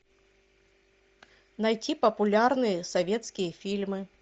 найти популярные советские фильмы